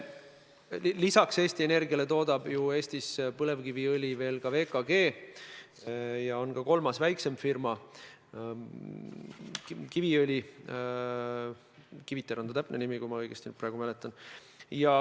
Lisaks Eesti Energiale toodab ju Eestis põlevkiviõli ka VKG ja on ka kolmas väiksem firma Kiviõlis – Kiviter on ta täpne nimi, kui ma õigesti mäletan.